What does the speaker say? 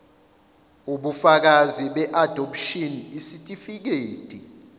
ubufakazi beadopshini isitifikedi